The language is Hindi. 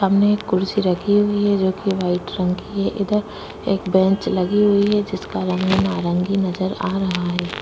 सामने एक कुर्सी रखी हुई है जो की वाइट रंग की है इधर एक बेंच लगी हुई है जिसका रंग नारंगी नजर आ रहा है।